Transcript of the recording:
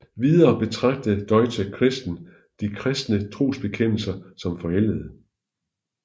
Videre betragtede Deutsche Christen de kristne trosbekendelser som forældede